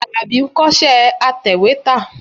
Àlàbí ń kọ́ṣẹ́ atẹ̀wétà.